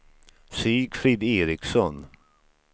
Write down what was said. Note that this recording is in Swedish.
Sigfrid Eriksson